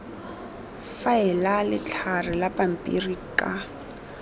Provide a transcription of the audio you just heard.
faela letlhare la pampiri ka